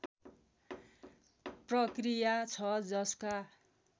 प्रक्रिया छ जसका